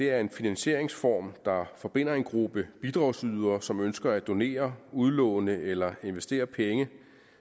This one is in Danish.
er en finansieringsform der forbinder en gruppe bidragsydere som ønsker at donere udlåne eller investere penge